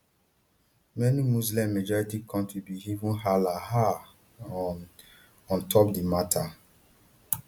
many muslimmajority kontris bin even hala um on um on top di mata